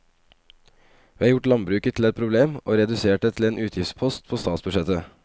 Vi har gjort landbruket til et problem og redusert det til en utgiftspost på statsbudsjettet.